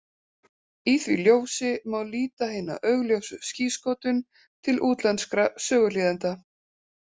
Í því ljósi má líta hina augljósu skírskotun til útlenskra söguhlýðenda.